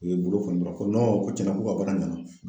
U ye bolo kɔni ko tiɲɛna k'u ka baara ɲɛna.